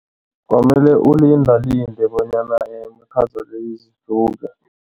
Kwamele ulindalinde bonyana imikhaza le